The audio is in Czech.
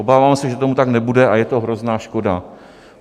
Obávám se, že tomu tak nebude, a je to hrozná škoda.